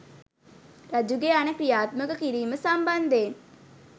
රජුගේ අණ ක්‍රියාත්මක කිරීම සම්බන්ධයෙන්